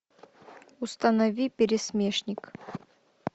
установи пересмешник